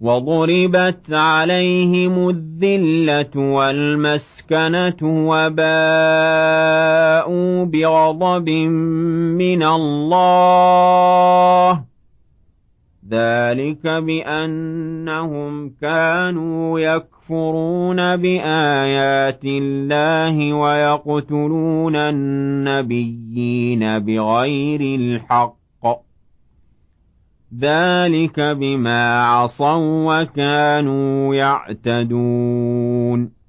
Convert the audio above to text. وَضُرِبَتْ عَلَيْهِمُ الذِّلَّةُ وَالْمَسْكَنَةُ وَبَاءُوا بِغَضَبٍ مِّنَ اللَّهِ ۗ ذَٰلِكَ بِأَنَّهُمْ كَانُوا يَكْفُرُونَ بِآيَاتِ اللَّهِ وَيَقْتُلُونَ النَّبِيِّينَ بِغَيْرِ الْحَقِّ ۗ ذَٰلِكَ بِمَا عَصَوا وَّكَانُوا يَعْتَدُونَ